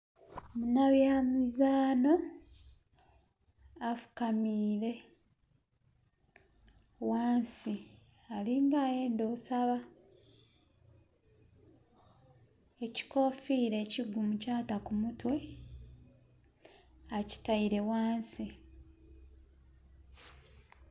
Muna bya mizaanho afukamiire ghansi alinga ayenda osaba, ekikofira ekiguumu kyata ku mutwe akitaire ghansi.